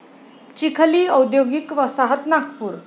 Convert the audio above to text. चिखली औद्योगिक वसाहत नागपूर